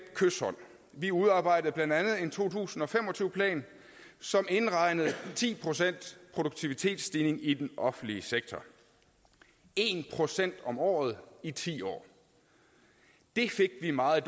kyshånd vi udarbejdede blandt andet en to tusind og fem og tyve plan som indregnede ti procent produktivitetsstigning i den offentlige sektor en procent om året i ti år det fik vi meget